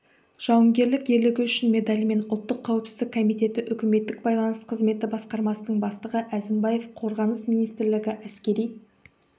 жауынгерлік ерлігі үшін медалімен ұлттық қауіпсіздік комитеті үкіметтік байланыс қызметі басқармасының бастығы әзімбаев қорғаныс министрлігі әскери